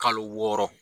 Kalo wɔɔrɔ